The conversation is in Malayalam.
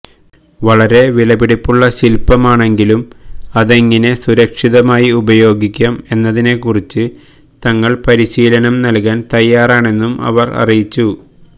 വളരെ വിലപിടിപ്പുള്ള ശില്പമാണെങ്കിലും അതെങ്ങിനെ സുരക്ഷിതമായി ഉപയോഗിക്കാം എന്നതിനെ കുറിച്ച് തങ്ങള് പരിശീലനം നല്കാന് തയ്യാറാണെന്നും അവര് അറിയിച്ചു